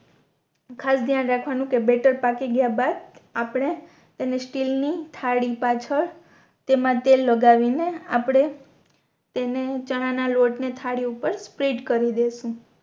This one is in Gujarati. ખાસ શયન રખવાનું કે બેટર પાકી ગયા બાદ આપણે એને સ્ટીલ ની થાળી પાછળ તેમા તેલ લગાવીને આપણે તેને ચણા ના લોટ ને થાળી ઉપર સ્પ્રેડ કરી દેસું